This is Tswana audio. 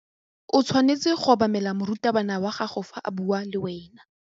O tshwanetse go obamela morutabana wa gago fa a bua le wena.